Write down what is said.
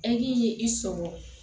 Eki ye i sɔgɔ